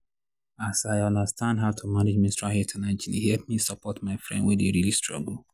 as i understand how to manage menstrual health and hygiene e help me support my friend wen dey really struggle.